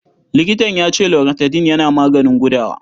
Likitan ya ce Loratadin yana maganin gudawa.